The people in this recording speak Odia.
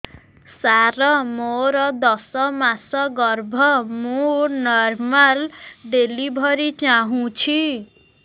ସାର ମୋର ଦଶ ମାସ ଗର୍ଭ ମୁ ନର୍ମାଲ ଡେଲିଭରୀ ଚାହୁଁଛି